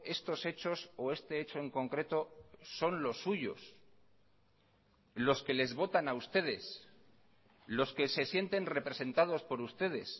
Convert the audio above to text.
estos hechos o este hecho en concreto son los suyos los que les votan a ustedes los que se sienten representados por ustedes